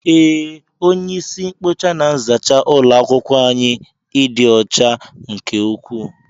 Ee, onye isi nkpocha na nzacha ulo akwukwo anyị ịdị ọcha nke ukwuu.